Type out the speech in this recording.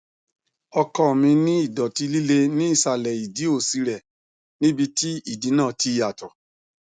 ọkọ mi ní ìdọtí líle ní ìsàlẹ ìdí òsì rẹ níbi tí ìdí náà ti yàtọ